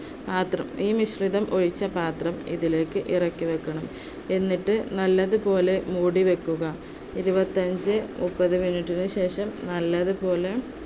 പാത്രത്തില്‍ മിശ്രിതം ഒഴിച്ച് പാത്രം ഇതിലേക്ക് ഇറക്കി വയ്ക്കണം. എന്നിട്ട് നല്ലതുപോലെ മൂടിവയ്ക്കുക ഇരുപത്തിഅഞ്ച് മുപ്പത് minute ന് ശേഷം നല്ലതുപോലെ